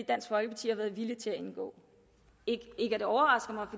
dansk folkeparti har været villig til indgå ikke at det overrasker mig